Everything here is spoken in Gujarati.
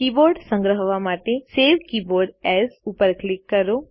કીબોર્ડ સંગ્રહવા માટે સવે કીબોર્ડ એએસ ઉપર ક્લિક કરો